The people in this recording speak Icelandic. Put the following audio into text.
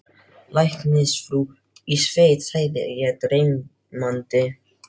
Læknisfrú í sveit sagði ég dreymandi.